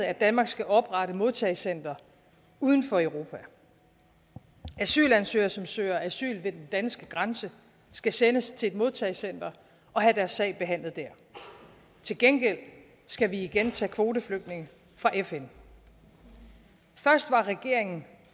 at danmark skal oprette et modtagecenter uden for europa asylansøgere som søger asyl ved den danske grænse skal sendes til et modtagecenter og have deres sag behandlet der til gengæld skal vi igen tage kvoteflygtninge fra fn først var regeringen